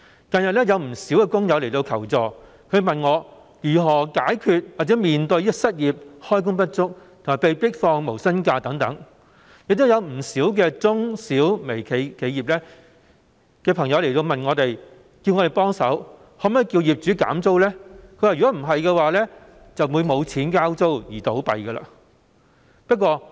近日，不少工友向我求助，問及如何解決或面對失業、開工不足及被迫放無薪假等問題，亦有不少中、小和微型企業的朋友請我們幫忙向業主要求減租，否則他們便會因沒有錢交租而結業。